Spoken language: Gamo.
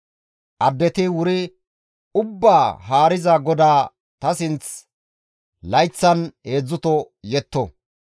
Addeti wuri ubbaa Haariza GODAA ta sinth layththan heedzdzuto yetto.